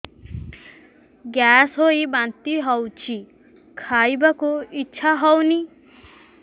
gas ହୋଇ ବାନ୍ତି ହଉଛି ଖାଇବାକୁ ଇଚ୍ଛା ହଉନି